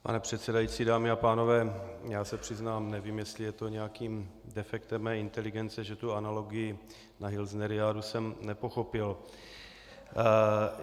Pane předsedající, dámy a pánové, já se přiznám, nevím, jestli je to nějakým defektem mé inteligence, že tu analogii na hilsneriádu jsem nepochopil.